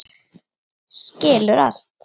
Skilur allt.